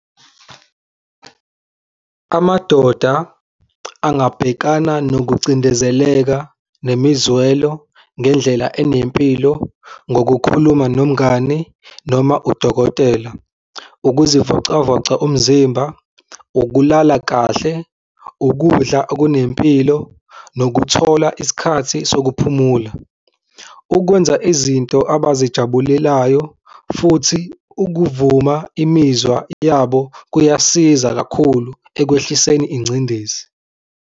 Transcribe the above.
Amadoda angabhekana nokucindezeleka nemizwelo ngendlela enempilo ngokukhuluma nomngani noma udokotela, ukuzivocavoca umzimba, ukulala kahle, ukudla okunempilo nokuthola isikhathi sokuphumula. Ukwenza izinto abazijabulelayo, futhi ukuvuma imizwa yabo kuyasiza kakhulu ekwehliseni ingcindezi.